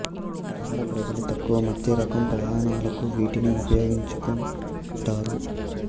నగర ప్రజలు తక్కువ మధ్య రకం ప్రయాణాలకు వీటిని ఉపయోగించుకుంటారు